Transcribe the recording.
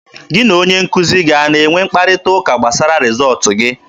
Gị na onye nkuzi gị a ga-enwe mkparịta ụka gbasara rịzọọtụ gị?